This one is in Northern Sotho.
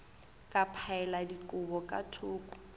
ka phaela dikobo ka thoko